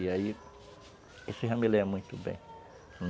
E aí, isso já me lembra muito bem.